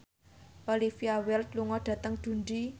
Olivia Wilde lunga dhateng Dundee